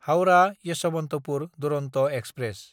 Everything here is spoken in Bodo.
हाउरा–येशबन्तपुर दुरन्त एक्सप्रेस